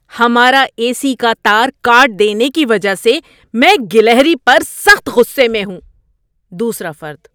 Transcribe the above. ہمارا A C کا تار کاٹ دینے کی وجہ سے میں گلہری پر سخت غصے میں ہوں۔ (دوسرا فرد)